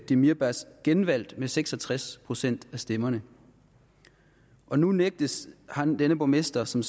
demirbaş genvalgt med seks og tres procent af stemmerne og nu nægtes denne borgmester som